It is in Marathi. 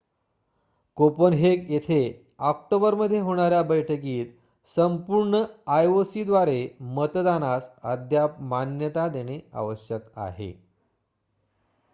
कोपनहेगन येथे ऑक्टोबरमध्ये होणाऱ्या बैठकीत संपूर्ण आयओसीद्वारे मतदानास अद्याप मान्यता देणे आवश्यक आहे